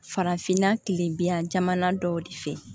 Farafinna kilen biyan jamana dɔw de fɛ